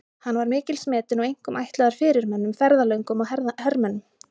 Hann var mikils metinn og einkum ætlaður fyrirmönnum, ferðalöngum og hermönnum.